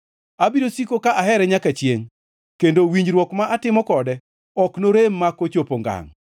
Abiro siko ka ahere nyaka chiengʼ, kendo winjruok ma atimo kode ok norem mak ochopo ngangʼ.